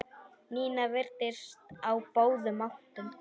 Nína virtist á báðum áttum.